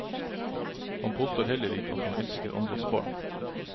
Han påstår heller ikke at han elsker andres barn.